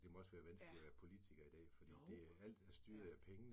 Det må også være vanskeligt at være politiker i dag, fordi alt er styret af pengene